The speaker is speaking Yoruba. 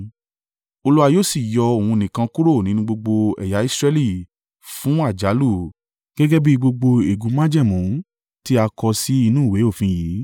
Olúwa yóò sì yọ òun nìkan kúrò nínú gbogbo ẹ̀yà Israẹli fún àjálù, gẹ́gẹ́ bí gbogbo ègún májẹ̀mú tí a kọ sí inú ìwé òfin yìí.